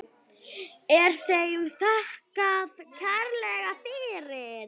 Er þeim þakkað kærlega fyrir.